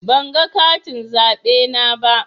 Ban ga katin zaɓe na ba.